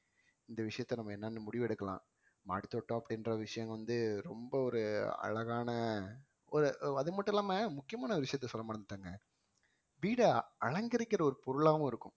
இந்த விஷயத்த நம்ம என்னன்னு முடிவெடுக்கலாம் மாடித் தோட்டம் அப்படின்ற விஷயம் வந்து ரொம்ப ஒரு அழகான ஒரு அது மட்டும் இல்லாம முக்கியமான விஷயத்தாய் சொல்ல மறந்துட்டேங்க, வீடை அலங்கரிக்கிற ஒரு பொருளாவும் இருக்கும்